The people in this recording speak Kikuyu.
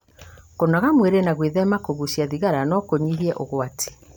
kũnogora mwĩrĩ na gwĩthema kũgucia thigara no kũnyihie ũgwati